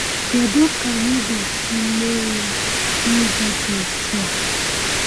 Kedu ka anyị ga-esi mee ya n’ụzọ dị otu a?